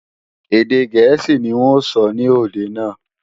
Èdè gẹ̀ẹ́sì ní n ó sọ ní òde náà